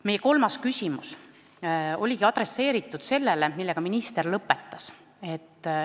Meie kolmas küsimus oligi teemal, millega minister lõpetas.